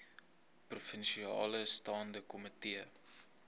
provinsiale staande komitee